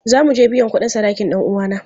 Za mu je biyan kudin sadakin dan uwana.